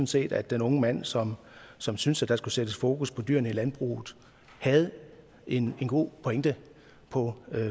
set at den unge mand som som synes at der skulle sættes fokus på dyrene i landbruget havde en god pointe på